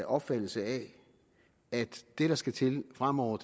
opfattelse af at det der skal til fremover